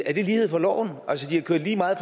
er det lighed for loven altså de har kørt lige meget